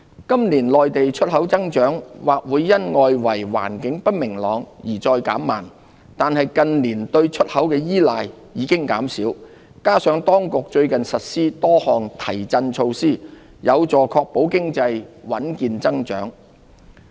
今年內地出口增長或會因外圍環境不明朗而再減慢，但近年對出口的依賴已減少，加上當局最近實施多項提振措施，有助確保經濟穩健增長。